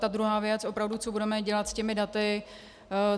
Ta druhá věc, opravdu, co budeme dělat s těmi daty.